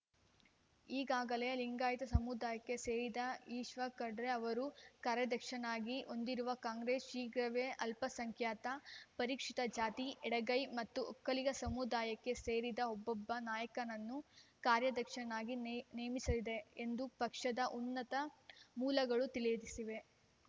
ಈಗಾಗಲೇ ಲಿಂಗಾಯತ ಸಮುದಾಯಕ್ಕೆ ಸೇರಿದ ಈಶ್ವರ್‌ ಖಂಡ್ರೆ ಅವರು ಕಾರ್ಯಾಧ್ಯಕ್ಷರನ್ನಾಗಿ ಹೊಂದಿರುವ ಕಾಂಗ್ರೆಸ್‌ ಶೀಘ್ರವೇ ಅಲ್ಪಸಂಖ್ಯಾತ ಪರಿಶಿಷ್ಟಜಾತಿ ಎಡಗೈ ಮತ್ತು ಒಕ್ಕಲಿಗ ಸಮುದಾಯಕ್ಕೆ ಸೇರಿದ ಒಬ್ಬೊಬ್ಬ ನಾಯಕನನ್ನು ಕಾರ್ಯಾಧ್ಯಕ್ಷರನ್ನಾಗಿ ನೇ ನೇಮಿಸಲಿದೆ ಎಂದು ಪಕ್ಷದ ಉನ್ನತ ಮೂಲಗಳು ತಿಳಿಸಿವೆ